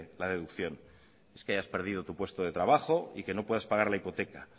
la deducción es que hayas perdido tu puesto de trabajo y que no puedas pagar la hipoteca